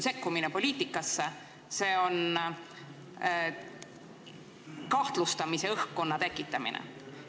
See on poliitikasse sekkumine, see on kahtlustamise õhkkonna tekitamine.